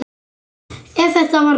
Ef það var hrútur.